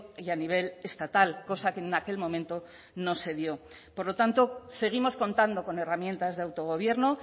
y a nivel estatal cosa que en aquel momento no se dio por lo tanto seguimos contando con herramientas de autogobierno